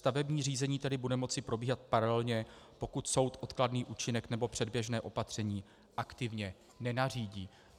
Stavební řízení tedy bude moci probíhat paralelně, pokud soud odkladný účinek nebo předběžné opatření aktivně nenařídí.